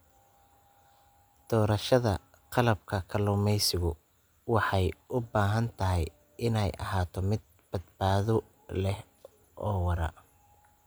Doorashada qalabka kalluumaysigu waxay u baahan tahay inay ahaato mid badbaado leh oo waara.